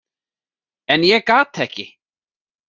En ég gat ekki.